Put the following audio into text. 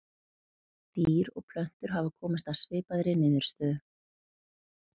Dýr og plöntur hafa komist að svipaðri niðurstöðu.